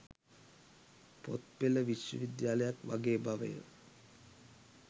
පොත් පෙළ විශ්වවිද්‍යාලයක් වගේ බවය.